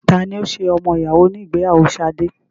Tani ó ṣe ọmọ ìyàwó ní ìgbéyàwó Sade?